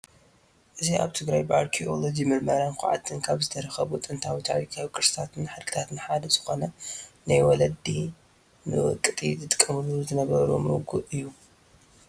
እዚ ኣብ ትግራይ ብኣርኪኤሎጂያም ምርምርን ዃዕትን ካብ ዝተረኸቡ ጥንታዊ፣ ታሪካዊ ፣ ቅርስታትን ሓድግታትን ሓደ ዝኾነ ናይ ወለዲ ንውቀጢ ዝጥቀምሉ ዝነበሩ መጉእ እዩ፡፡